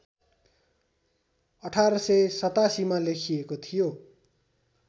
१८८७ मा लेखिएको थियो